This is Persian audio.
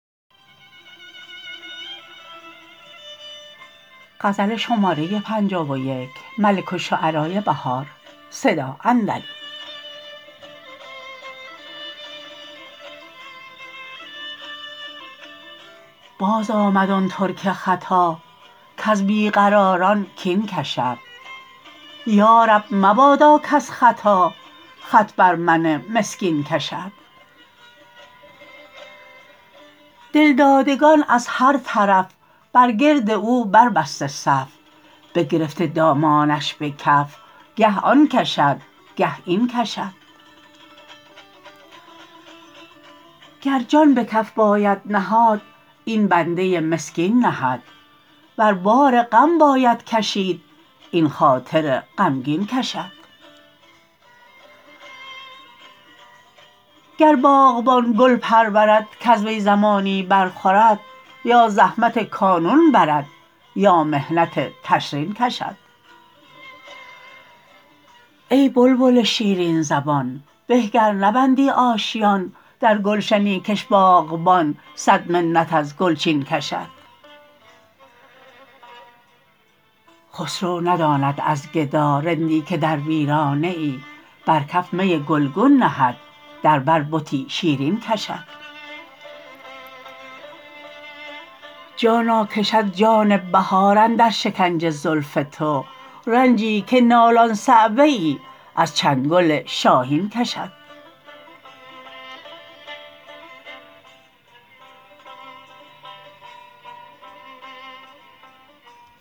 بازآمد آن ترک ختا کز بیقراران کین کشد یارب مبادا کز خطا خط بر من مسکین کشد دلدادگان از هر طرف برگرد او بربسته صف بگرفته دامانش به کف گه آن کشد گه این کشد گر جان به کف باید نهاد این بنده مسکین نهد ور بار غم باید کشید این خاطر غمگین کشد گر باغبان گل پرورد کز وی زمانی برخورد یا زحمت کانون برد یا محنت تشرین کشد ای بلبل شیرین زبان به گر نبندی آشیان درگلشنی کش باغبان صد منت از گلچین کشد خسرو نداند از گدا رندی که در ویرانه ای برکف می گلگون نهد در بر بتی شیرین کشد جانا کشد جان بهار اندر شکنج زلف تو زنجی که نالان صعوه ای از چنگل شاهین کشد